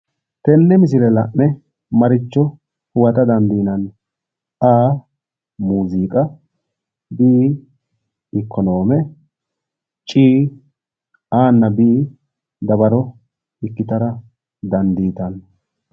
Tenne misile la'ne maricho huwata dandiinanni? A, muuziiqa B. ikonoome C, A nna B dawaro ikkitara dandiitanno.